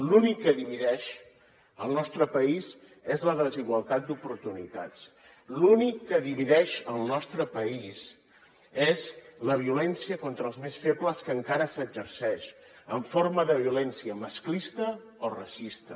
l’únic que divideix el nostre país és la desigualtat d’oportunitats l’únic que divideix el nostre país és la violència contra els més febles que encara s’exerceix en forma de violència masclista o racista